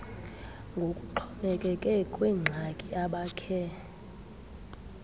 ngokuxhomekeke kwiingxaki abakhe